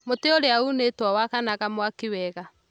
Mũtĩ ũrĩa uunĩtwo wakanaga mwaki wega